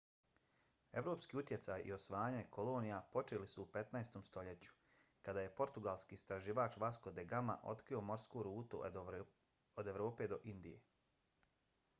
evropski utjecaj i osvajanje kolonija počeli su u 15. stoljeću kada je portugalski istraživač vasco da gama otkrio morsku rutu od evrope do indije